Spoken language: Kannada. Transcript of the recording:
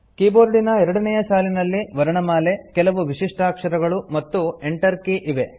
ಕೀಬೋರ್ಡಿನ ಎರಡನೇಯ ಸಾಲಿನಲ್ಲಿ ವರ್ಣಮಾಲೆ ಕೆಲವು ವಿಶಿಷ್ಟಾಕ್ಷರಗಳು ಮತ್ತು Enter ಕೀ ಇವೆ